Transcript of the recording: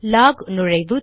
lock நுழைவு